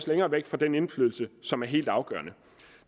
længere væk fra den indflydelse som er helt afgørende